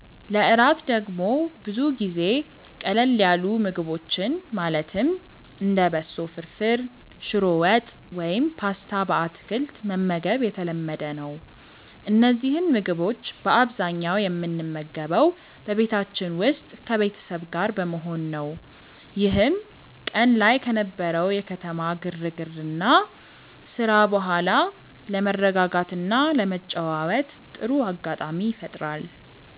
ለእራት ደግሞ ብዙ ጊዜ ቀለል ያሉ ምግቦችን ማለትም እንደ በሶ ፍርፍር፣ ሽሮ ወጥ ወይም ፓስታ በአትክልት መመገብ የተለመደ ነው። እነዚህን ምግቦች በአብዛኛው የምንመገበው በቤታችን ውስጥ ከቤተሰብ ጋር በመሆን ነው፤ ይህም ቀን ላይ ከነበረው የከተማ ግርግርና ስራ በኋላ ለመረጋጋትና ለመጨዋወት ጥሩ አጋጣሚ ይፈጥራል።